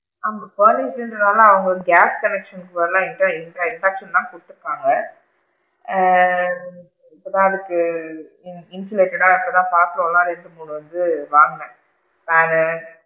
ஆமா, காலேஜ்ங்கறனால அவுங்க gas connection இல்ல இப்ப தான் induction லா குடுத்து இருக்காங்க, ஆ இப்ப தான் அதுக்கு insulated டா இப்ப தான் பாத்திரம் லா எடுத்துட்டு போறதுக்கு வாங்குனேன் நானு,